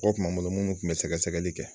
O kun b'a bolo mun tun bɛ sɛgɛsɛgɛli kɛ.